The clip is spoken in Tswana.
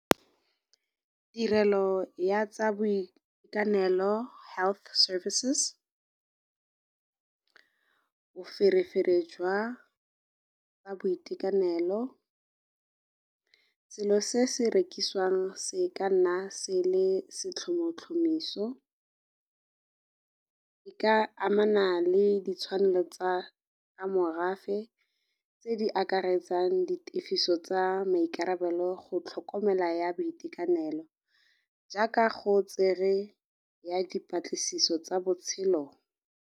Tirelo ya tsa boitekanelo health services boferefere jwa tsa boitekanelo, selo se se rekisiwang se ka nna se le setlhomotlhomiso, e ka amana le ditshwanelo tsa morafe tse di akaretsang di tefiso tsa maikarabelo go tlhokomela ya boitekanelo jaaka go tsere ya dipatlisiso tsa botshelo.